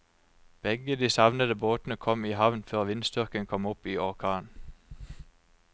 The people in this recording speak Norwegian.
Begge de savnede båtene kom i havn før vindstyrken kom opp i orkan.